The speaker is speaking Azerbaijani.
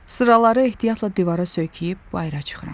Sıraları ehtiyatla divara söykəyib bayıra çıxıram.